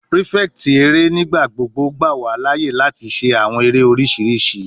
Prefect ere nigbagbogbo gba wa laaye lati ṣe awọn ere oriṣiriṣi